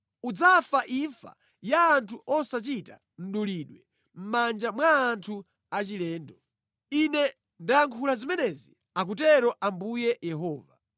Udzafa imfa ya anthu osachita mdulidwe mʼmanja mwa anthu achilendo. Ine ndayankhula zimenezi, akutero Ambuye Yehova.’ ”